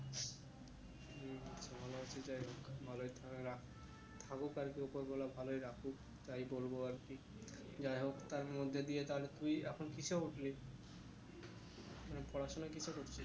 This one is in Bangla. ভালো আছে যাই হোক ভালোই থা~ রাখ থাকুক আর কি উপরওয়ালা ভালোই রাখুক তাই বলবো আর কি যাই হোক তার মধ্যে দিয়ে তার তুই এখন কিসে উঠলি মানে পড়াশোনা কিসে করছিস?